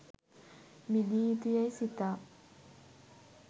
මිදිය යුතු යැයි සිතා